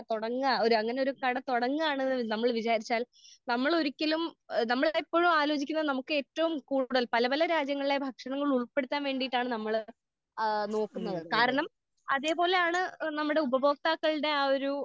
തുടങ്ങാ ഒരു അങ്ങനെ ഒരു കട തുടങ്ങാണെന്ന് നമ്മൾ വിചാരിച്ചാൽ നമ്മള് ഒരിക്കലും നമ്മൾക്ക് എപ്പഴും ആലോചിക്കുന്ന നമുക്ക് ഏറ്റവും കൂടുതൽ പല പല രാജ്യങ്ങളിലെ ഭക്ഷണങ്ങൾ ഉൾപ്പെടുത്താൻ വേണ്ടിയിട്ടാണ് നമ്മള് ഏഹ് നോക്കുന്നത്. കാരണം അതേ പോലെയാണ് നമ്മുടെ ഉപഭോക്താക്കളുടെ ആഹ് ഒരു.